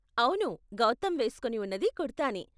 అవును గౌతమ్ వేస్కొని ఉన్నది కుర్తా నే.